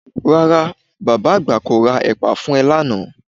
Rárá, bàbá àgbà kò ra ẹ̀pà fún ẹ lánàá